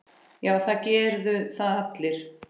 Já, það gerðu það allir.